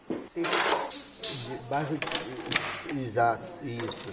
O bairro é o bairro afastado do centro... Exato, isso.